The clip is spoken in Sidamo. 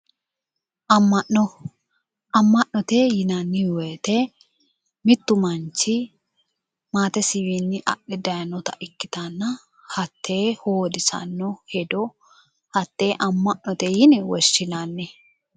Ama'no, ama'no yinnanni woyte mitu manchi maatesiwinni adhe daayinotta ikkittanna hatte hoodisano hedo hatte ama'note yinne woshshinanni